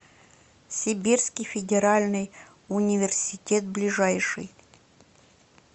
сибирский федеральный университет ближайший